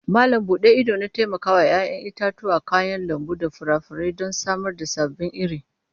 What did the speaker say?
Malam bude idona taimakawa 'ya'yan itatuwa, kayan lambu da furanni don samar da sababbin iri.